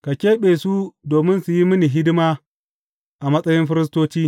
Ka keɓe su domin su yi mini hidima a matsayin firistoci.